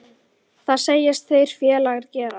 Það segjast þeir félagar gera.